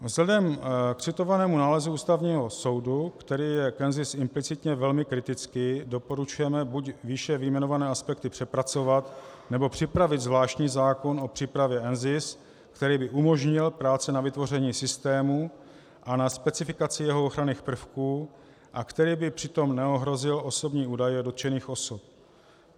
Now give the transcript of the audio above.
Vzhledem k citovanému nálezu Ústavního soudu, který je k NZIS implicitně velmi kritický, doporučujeme buď výše vyjmenované aspekty přepracovat, nebo připravit zvláštní zákon o přípravě NZIS, který by umožnil práce na vytvoření systému a na specifikaci jeho ochranných prvků a který by přitom neohrozil osobní údaje dotčených osob.